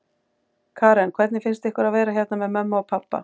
Karen: Hvernig finnst ykkur að vera hérna með mömmu og pabba?